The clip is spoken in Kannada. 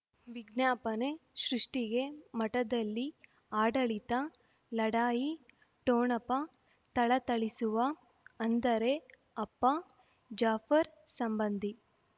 ವಿಜ್ಞಾಪನೆ ಸೃಷ್ಟಿಗೆ ಮಠದಲ್ಲಿ ಆಡಳಿತ ಲಢಾಯಿ ಠೊಣಪ ಥಳಥಳಿಸುವ ಅಂದರೆ ಅಪ್ಪ ಜಾಫರ್ ಸಂಬಂಧಿ